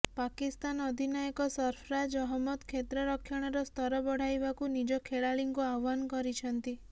ପାକିସ୍ତାନ ଅଧିନାୟକ ସର୍ଫରାଜ ଅହମ୍ମଦ କ୍ଷେତ୍ରରକ୍ଷଣର ସ୍ତର ବଢ଼ାଇବାକୁ ନିଜ ଖେଳାଳିଙ୍କୁ ଆହ୍ବାନ କରିଛନ୍ତି